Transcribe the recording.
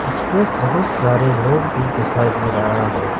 इसपे बहुत सारे लोग भी दिखाई दे रहा है।